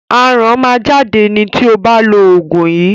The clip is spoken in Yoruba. Aràn máa jáde ni tí o bá lo òògùn yìí.